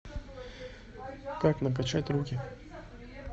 как накачать руки